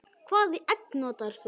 Hvaða egg notar þú?